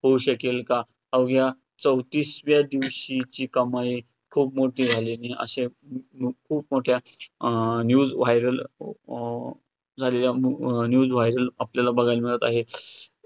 होऊ शकेल का? अवघ्या चौतीसव्या दिवशीची कमाई खूप मोठी झाली आणि अश्या खू~ खूप मोठ्या अं news viral m अं झालेल्या news viral झालेल्या मिळत आहे.